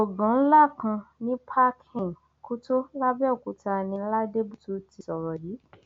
gbọngàn ńlá kan ní park inn kútó labẹọkútà ní ladébùtú ti sọrọ yìí